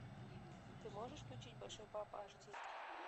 ты можешь включить большой папа аш ди